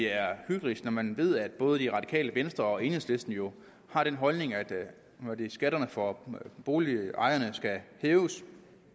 er hyklerisk når man ved at både det radikale venstre og enhedslisten jo har den holdning at skatterne for boligejerne skal hæves